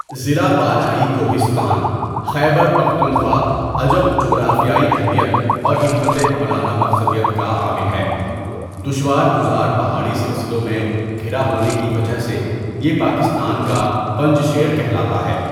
ضلع بالائی کوہستان، خیبر پختونخوا، عجب جغرافیائی اہمیّت اور حکمتِ عملانہ مقصدیت کا حامل ہے دشوارگزارپہاڑی سلسلوں میں گھرا ہونے کی وجہ سے یہ پاکستان کا پنج شیر کہلاتاہے.